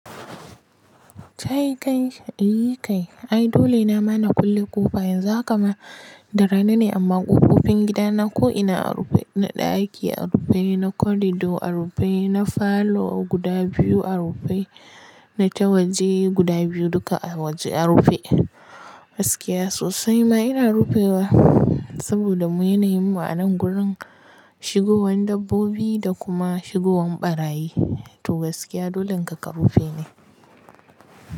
Tayi kai eeh kai. Ai dole na mana kulle ƙofa yanzu haka ma da rana ne amma ƙofofi gida na ko ina a rufe, na ɗaki a rufe, na corridor a rufe, na falo guda biyu a rufe, na ta waji guda biyu duka a rufe. Gaskiya sosai ma ina rufewa saboda mu yanayin mu a nan gurin shigowan dabbobi da kuma shigowan ɓarayi. To gaskiya dolen haka ka rufe ne.